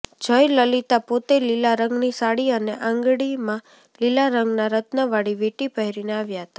જયલલિતા પોતે લીલા રંગની સાડી અને આંગળીમાં લીલા રંગના રત્નવાળી વીંટી પહેરીને આવ્યાં હતાં